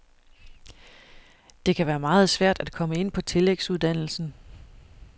Det kan være meget svært at komme ind på tillægsuddannelsen.